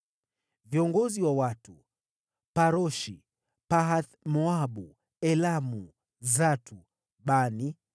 Viongozi wa watu: Paroshi, Pahath-Moabu, Elamu, Zatu, Bani,